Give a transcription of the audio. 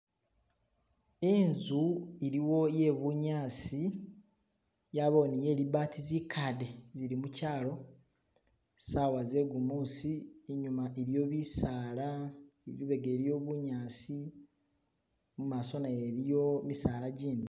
Inzu iliwo ye bunyasi yabawo ni ye libaati zikaade zili muchalo sawa zegumusi inyuma iliyo bisaala lubega iliyo bunyasi mumaso nayo iliyo misaala gindi.